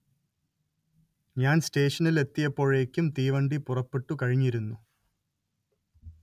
ഞാൻ സ്റ്റേഷനിലെത്തിയപ്പോഴേക്കും തീവണ്ടി പുറപ്പെട്ടു കഴിഞ്ഞിരുന്നു